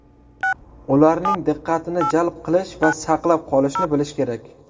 Ularning diqqatini jalb qilish va saqlab qolishni bilish kerak.